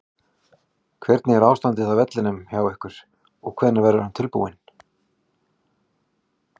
Hvernig er ástandið á vellinum hjá ykkur og hvenær verður hann tilbúinn?